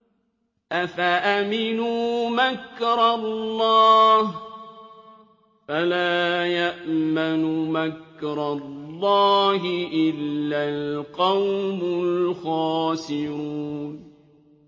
أَفَأَمِنُوا مَكْرَ اللَّهِ ۚ فَلَا يَأْمَنُ مَكْرَ اللَّهِ إِلَّا الْقَوْمُ الْخَاسِرُونَ